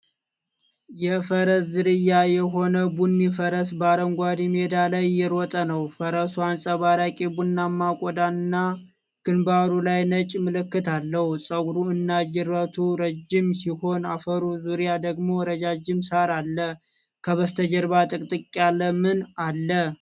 የፈረስ ዝርያ የሆነ ቡኒ ፈረስ በአረንጓዴ ሜዳ ላይ እየሮጠ ነው። ፈረሱ አንጸባራቂ ቡናማ ቆዳና ግንባሩ ላይ ነጭ ምልክት አለው። ፀጉሩ እና ጅራቱ ረዥም ሲሆን፣ አፈሩ ዙሪያ ደግሞ ረዣዥም ሣር አለ። ከበስተጀርባ ጥቅጥቅ ያለ ምን አለ።